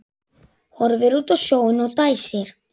Horfir út á sjóinn og dæsir.